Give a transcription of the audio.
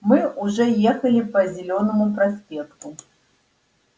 мы уже ехали по зелёному проспекту